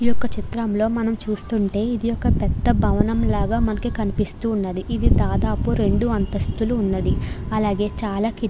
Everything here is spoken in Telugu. ఈ చిత్రంలో మనకి ఒక రెండు అంతస్థుల భవనం కనిపిస్తున్నది. ఇది దాదాపు రెండు అంతస్తులు ఉంది. అలాగే చాల కిటి --